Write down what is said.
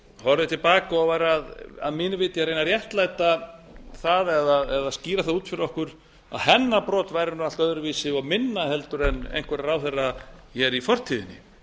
horfði til baka og var að mínu viti að reyna að réttlæta það eða skýra það út fyrir okkur að hennar brot væri allt öðruvísi og minna en einhverra ráðherra hér í fortíðinni